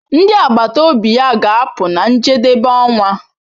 Ndi agbata obi ya ga-apụ na njedebe ọnwa.